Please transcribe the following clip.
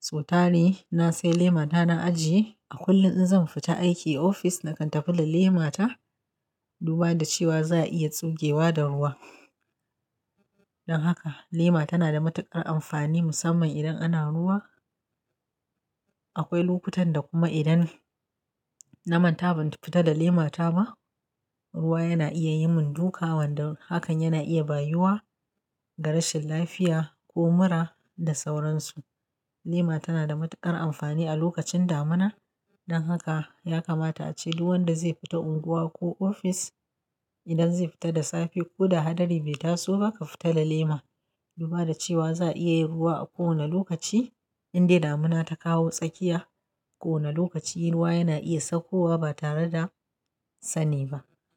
So tari na sai lemata na ajiye a kullum in zan fita aiki ofis nakan tafi da lemata duba da cewa za'a iya tsugewa da ruwa. Don haka lema tana da matuƙar amfani musamman idan ana ruwa. Akwai lokutan da kuma idan na manta ban fita da lemata ba, ruwa yana iya yin mun duka wanda hakan yana iya bayiwa da rashin lafiya ko mura da sauransu. Lema tana da matuƙar amfani a lokacin damina don haka ya kamata a ce duk wanda zai fita unguwa ko ofis idan zai fita da safe ko da hadari bai taso ba, ka fita da lema duba da cewa za'a iya ruwa a kowane lokaci. Indai damina ta kawo tsakiya ko wane lokaci ruwa yana iya saukowa ba tare da sani ba.